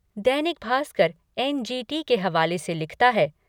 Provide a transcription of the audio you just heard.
दैनिक Bhaskar N G T के हवाले से लिखता है